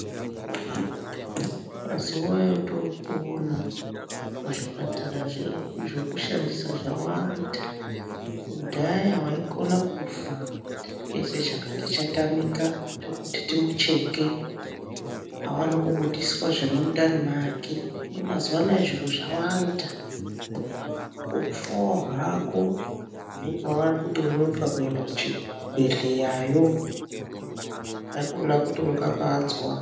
Mazuva etopona muzvipatara zvedu zvotoshandisa zvawanda. Kudhaya vaikona kufa chakati chatamika chekuti timucheke aone kubudiswa zviri mundani make. Hino mazuva anaya zviro zvawanda kufavo hako unonga vanonoka kuenda kuchibhedhleyayo haikona kuti unombanza.